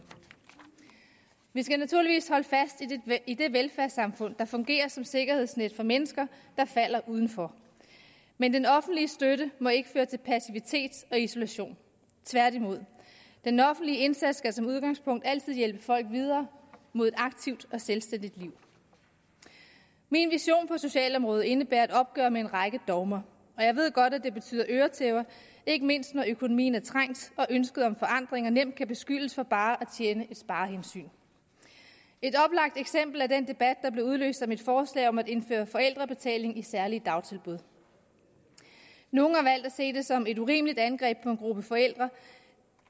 vi skal naturligvis holde fast i det velfærdssamfund der fungerer som sikkerhedsnet for mennesker der falder udenfor men den offentlige støtte må ikke føre til passivitet og isolation tværtimod den offentlige indsats skal som udgangspunkt altid hjælpe folk videre mod et aktivt og selvstændigt liv min vision på socialområdet indebærer et opgør med en række dogmer og jeg ved godt det betyder øretæver ikke mindst når økonomien er trængt og ønsket om forandringer nemt kan beskyldes for bare at tjene et sparehensyn et oplagt eksempel er den debat der blev udløst af mit forslag om at indføre forældrebetaling i særlige dagtilbud nogle har valgt at se det som et urimeligt angreb på en gruppe forældre